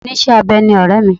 Oníṣẹ́-abẹ ni ọ̀rẹ́ mi.